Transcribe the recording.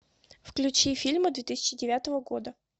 включи фильмы две тысячи девятого года